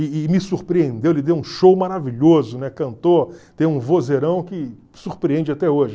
E e me surpreendeu, ele deu um show maravilhoso, né, cantou, tem um vozeirão que surpreende até hoje.